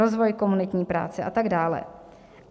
Rozvoj komunitní práce a tak dále.